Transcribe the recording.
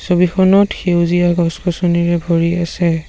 ছবিখনত সেউজীয়া গছ-গছনিৰে ভৰি আছে।